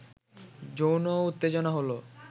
যৌন উত্তেজনা হলো